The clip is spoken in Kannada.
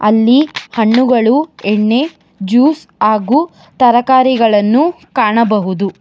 ಅಲ್ಲಿ ಹಣ್ಣುಗಳು ಎಣ್ಣೆ ಜ್ಯೂಸ್ ಹಾಗೂ ತರಕಾರಿಗಳನ್ನು ಕಾಣಬಹುದು.